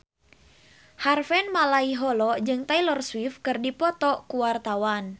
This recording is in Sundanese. Harvey Malaiholo jeung Taylor Swift keur dipoto ku wartawan